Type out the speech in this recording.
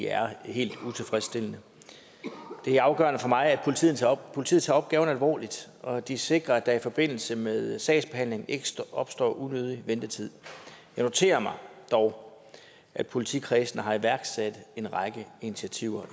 er helt utilfredsstillende det er afgørende for mig at politiet tager politiet tager opgaven alvorligt og at de sikrer at der i forbindelse med sagsbehandlingen ikke opstår unødig ventetid jeg noterer mig dog at politikredsene har iværksat en række initiativer